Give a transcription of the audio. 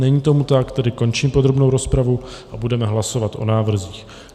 Není tomu tak, tedy končím podrobnou rozpravu a budeme hlasovat o návrzích.